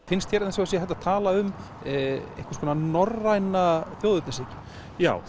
finnst þér eins og það sé hægt að tala um einhvers konar norræna þjóðernishyggju já